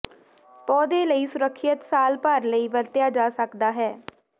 ਪੌਦੇ ਲਈ ਸੁਰੱਖਿਅਤ ਸਾਲ ਭਰ ਲਈ ਵਰਤਿਆ ਜਾ ਸਕਦਾ ਹੈ